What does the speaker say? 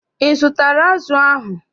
Ị zụtara azụ ahụ?